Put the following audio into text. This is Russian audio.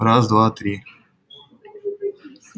раз два три